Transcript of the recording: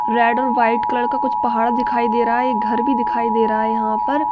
Red और white colour का कुछ पहाड़ दिखाई दे रहा है एक घर भी दिखाई दे रहा है यहाँ पर।